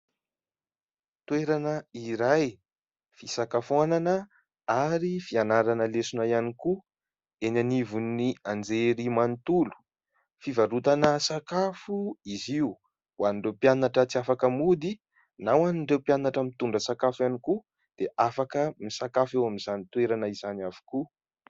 Toerana iray fisakafoanana ary fianarana lesona ihany koa eny anivon'ny anjery manontolo. Fivarotana sakafo izy io ho an'ireo mpianatra tsy afaka mody na ho an'ireo mpianatra mitondra sakafo ihany koa dia afaka misakafo eo amin'izany toerana izany avokoa.